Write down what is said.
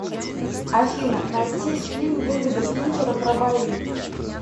афина найти фильм дэвида финчера про бои